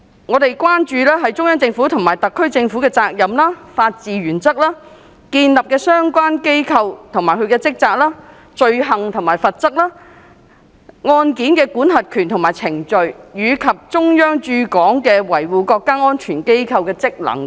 我們關注中央政府及特區政府的責任、法治原則、建立的相關機構及其職責、罪行及罰則、案件的管轄權及程序，以及中央駐港維護國家安全機構的職能等。